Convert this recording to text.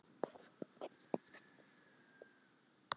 Líkaminn bregst skjótt við hitatapi sem verður vegna kulda í umhverfinu.